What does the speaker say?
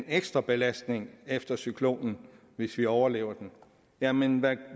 ekstrabelastning efter cyklonen hvis vi overlever den jamen